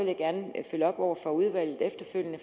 vil op over for udvalget efterfølgende